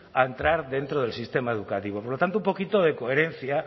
a entrar dentro del sistema educativo por lo tanto un poquito de coherencia